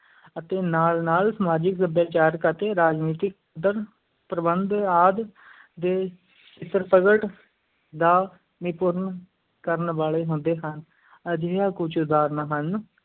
ਅਤੇ ਨਾਲ-ਨਾਲ ਸਮਾਜਿਕ, ਸੱਭਿਆਚਾਰਿਕ ਅਤੇ ਰਾਜਨੀਤਿਕ ਪ੍ਰਬੰਧ ਆਦਿ ਦੇ ਦਾ ਨਿਰੂਪਣ ਕਰਨ ਵਾਲੇ ਹੁੰਦੇ ਹਨ, ਅਜਿਹੀਆਂ ਕੁਝ ਉਦਾਹਰਨਾਂ ਹਨ,